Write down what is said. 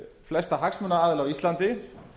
flesta hagsmunaaðila á íslandi